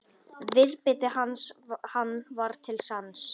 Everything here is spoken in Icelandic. Viðbiti hann var til sanns.